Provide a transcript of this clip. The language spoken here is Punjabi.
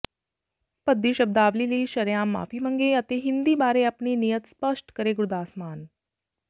ਭੱਦੀ ਸ਼ਬਦਾਵਲੀ ਲਈ ਸ਼ਰੇਆਮ ਮਾਫ਼ੀ ਮੰਗੇ ਅਤੇ ਹਿੰਦੀ ਬਾਰੇ ਆਪਣੀ ਨੀਅਤ ਸਪਸ਼ਟ ਕਰੇ ਗੁਰਦਾਸ ਮਾਨ